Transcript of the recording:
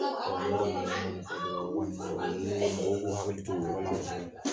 mɔgɔw k'u hakili to o yɔrɔ la kosɛbɛ.